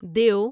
دیو